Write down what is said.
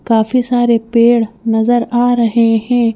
काफी सारे पेड़ नजर आ रहे हैं।